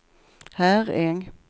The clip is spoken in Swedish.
Herräng